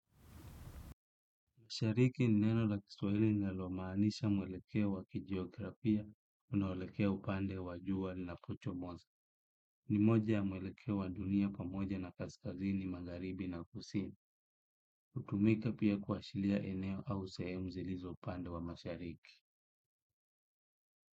Mashariki ni neno la kiswahili linalomaanisha mwelekeo wa kijiografia, unaoelekea upande wa jua linapochomoza. Ni moja wa mwelekeo wa dunia pamoja na kaskazini magharibi na kusini hutumika pia kuashilia eneo au sehemu zilizo upande wa mashariki.